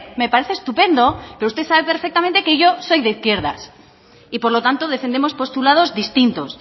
me parece estupendo pero usted sabe perfectamente que yo soy de izquierdas y por lo tanto defendemos postulados distintos